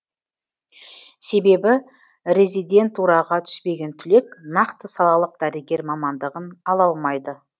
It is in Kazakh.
себебі резидентураға түспеген түлек нақты салалық дәрігер мамандығын ала алмайды